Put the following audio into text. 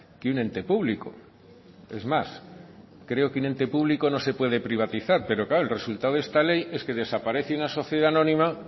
que un ente público es más creo que un ente público no se puede privatizar pero claro el resultado de esta ley es que desaparece una sociedad anónima